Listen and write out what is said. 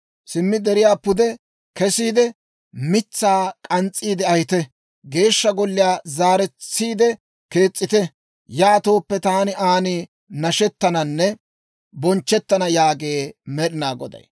Simmi deriyaa pude kesiide, mitsaa k'ans's'iide ahite; Geeshsha Golliyaa zaaretsiide kees's'ite. Yaatooppe taani aan nashettananne bonchchettana» yaagee Med'inaa Goday.